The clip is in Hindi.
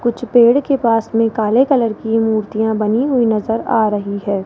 कुछ पेड़ के पास में काले कलर की मूर्तियां बनी हुई नजर आ रही है।